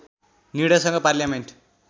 निर्णयसँग parliament